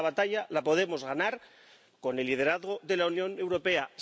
Pero la batalla la podemos ganar con el liderazgo de la Unión Europea.